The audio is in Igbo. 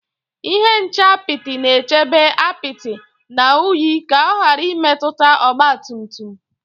Ihe nche apịtị na-echebe apịtị na unyi ka ọ ghara imetụta ọgba tum tum